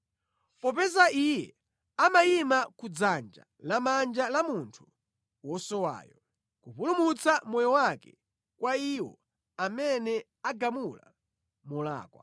Popeza Iye amayima ku dzanja lamanja la munthu wosowayo, kupulumutsa moyo wake kwa iwo amene agamula molakwa.